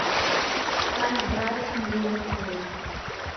ставь брайтон ливерпуль